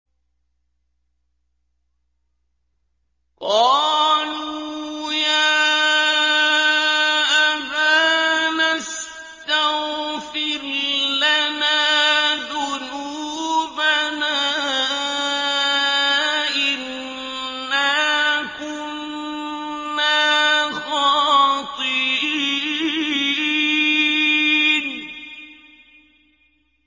قَالُوا يَا أَبَانَا اسْتَغْفِرْ لَنَا ذُنُوبَنَا إِنَّا كُنَّا خَاطِئِينَ